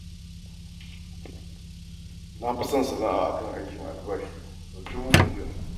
Na fi son sana'a a kan aikin albashi sau dubu miliyan